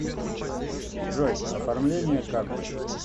джой оформление карты